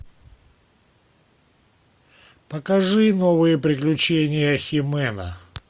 покажи новые приключения хи мэна